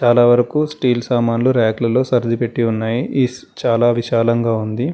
చాలా వరకు స్టీల్ సామాన్లు ర్యకులలో సర్దిపెట్టి ఉన్నాయి చాలా విశాలంగా ఉంది.